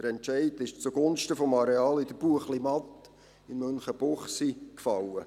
Der Entscheid fiel zugunsten des Areals in der Buechlimatt in Münchenbuchsee.